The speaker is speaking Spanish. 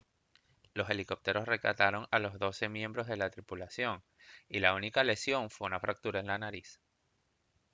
los helicópteros rescataron a los doce miembros de la tripulación y la única lesión fue una fractura de nariz